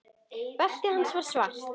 Beltið hans var svart.